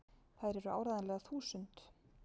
Þær eru áreiðanlega þúsund!!